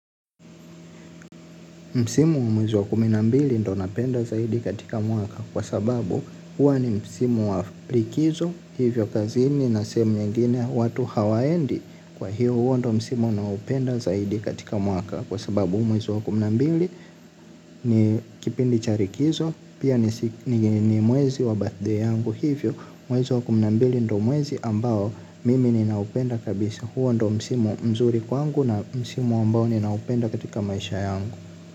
Msimu wa mwezi wa kumi na mbili ndiyo napenda zaidi katika mwaka kwa sababu huwa ni msimu wa likizo hivyo kazini na sehemu nyingine watu hawaendi kwa hivyo huwa ndiyo msimu ninayopenda zaidi katika mwaka kwa sababu mwezi wa kumi na mbili ni kipindi cha likizo pia ni mwezi wa birthday yangu hivyo mwezi wa kumi na mbili ndiyo mwezi ambao mimi nina upenda kabisa huwa ndiyo msimu mzuri kwangu na msimu ambao nina upenda katika maisha yangu.